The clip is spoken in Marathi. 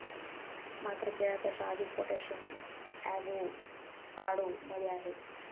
मात्र केळ्यापेक्षा अधिक पोटॅशियम अॅव्होकाडो मध्ये आहे.